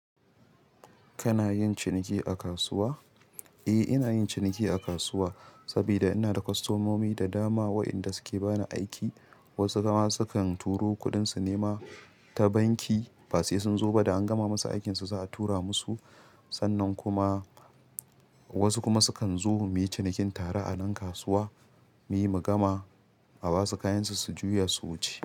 Kana yin ciniki a kasuwa? Eh, ina yin ciniki a kasuwa saboda ina da kwastomomi da dama waɗanda suke bani aiki. Wasu kuma sukan turo kuɗin su nema ta banki, basu iya sun zo ba da an gama musu aikin su, za a tura musu. Sannan kuma wasu kuma sukan zo muyi cinikin tare a nan kasuwa, muyi mu gama a basu kayansu su juya su wuce.